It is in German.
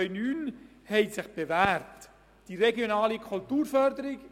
Wer diese zur Kenntnis nimmt, stimmt Ja, wer die Kenntnisnahme ablehnt, stimmt Nein.